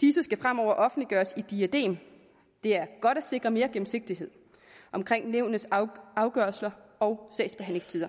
disse skal fremover offentliggøres i diadem det er godt at sikre mere gennemsigtighed omkring nævnenes afgørelser og sagsbehandlingstider